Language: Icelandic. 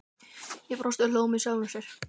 Ég brosti og hló með sjálfri mér.